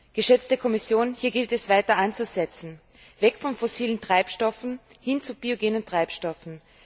Geschätzte Kommission, hier gilt es weiter anzusetzen weg von fossilen Treibstoffen hin zu biogenen Treibstoffen.